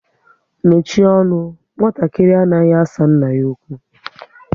Mechie ọnụ! Nwatakịrị anaghị asa nna ya okwu